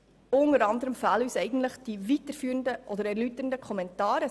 Unter anderem fehlen uns die erläuternden und weiterführenden Kommentare.